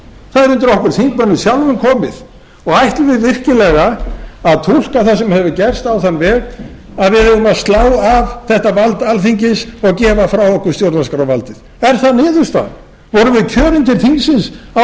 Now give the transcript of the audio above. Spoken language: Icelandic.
það er undir okkur þingmönnum sjálfum komið og ætlum við virkilega að túlka það sem hefur gerst á þann veg að við eigum að slá af þetta vald alþingis og gefa frá okkur stjórnarskrárvaldið er það niðurstaðan vorum við kjörin til þingsins á þeim